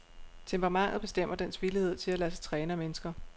Temperamentet bestemmer dens villighed til at lade sig træne af mennesker.